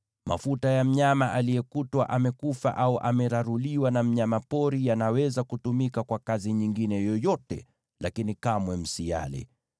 Mafuta ya mnyama aliyekutwa amekufa au ameraruliwa na mnyama pori yanaweza kutumika kwa kazi nyingine yoyote, lakini kamwe msiyale.